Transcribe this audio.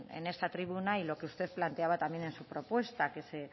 en esta tribuna y lo que usted planteaba también en su propuesta que se